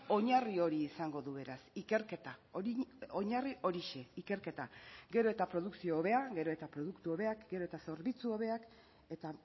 oinarri hori izango du beraz ikerketa oinarri horixe ikerketa gero eta produkzio hobea gero eta produktu hobeak gero eta zerbitzu hobeak eta